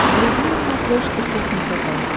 вруби на смотрешке кухня тв